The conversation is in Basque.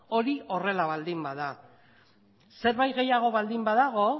hori horrela baldin bada zerbait gehiago baldin badago